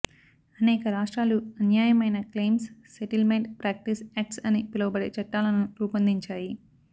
అనేక రాష్ట్రాలు అన్యాయమైన క్లెయిమ్స్ సెటిల్మెంట్ ప్రాక్టీస్ యాక్ట్స్ అని పిలవబడే చట్టాలను రూపొందించాయి